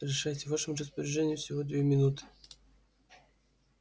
решайте в вашем распоряжении всего две минуты